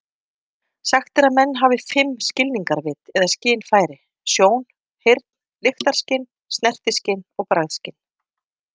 Sagt er að menn hafir fimm skilningarvit eða skynfæri: sjón, heyrn, lyktarskyn, snertiskyn og bragðskyn.